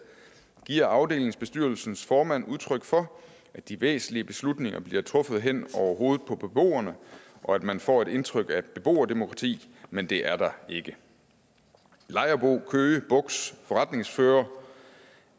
giver afdelingsbestyrelsens formand udtryk for at de væsentlige beslutninger bliver truffet hen over hovedet på beboerne og at man får et indtryk af et beboerdemokrati men det er der ikke lejerbo køge bugts forretningsfører